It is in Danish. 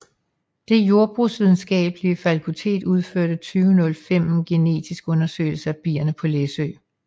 Det Jordbrugsvidenskabelige Fakultet udførte i 2005 en genetisk undersøgelse af bierne på Læsø